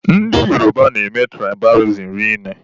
Ndị Yoruba na-eme tụraịbalizim rinne.